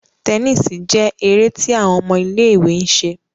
Tẹníìsì jé èrè tí àwọn ọmọ ilé-ìwé ń ṣe